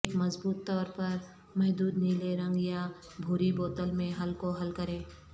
ایک مضبوط طور پر محدود نیلے رنگ یا بھوری بوتل میں حل کو حل کریں